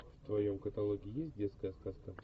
в твоем каталоге есть детская сказка